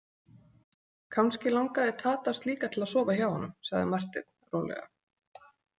Kannski langaði Tadas líka til að sofa hjá honum, sagði Marteinn rólega.